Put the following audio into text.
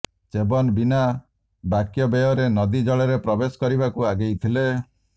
ଚ୍ୟବନ ବିନା ବାକ୍ୟବ୍ୟୟରେ ନଦୀ ଜଳରେ ପ୍ରବେଶ କରିବାକୁ ଆଗେଇଗଲେ